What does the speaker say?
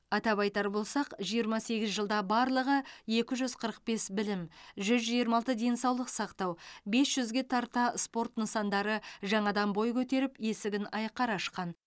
атап айтар болсақ жиырма сегіз жылда барлығы екі жүз қырық бес білім жүз жиырма алты денсаулық сақтау бес жүзге тарта спорт нысандары жаңадан бой көтеріп есігін айқара ашқан